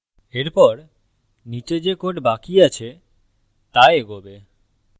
এরপর নীচে যে code বাকি আছে তা এগোবে